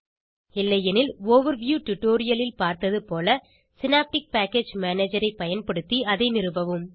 இல்லையெனில் மேலோட்ட டுடோரியலில் பார்த்தது போலசினாப்டிக் பேக்கேஜ் மேனேஜரை பயன்படுத்தி அதை நிறுவவும்